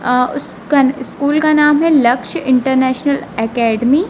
अ उस कन स्कूल का नाम है लक्ष्य इंटरनेशनल एकेडमी ।